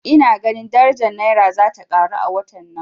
Ina ganin daraja Naira zata karo a watan nan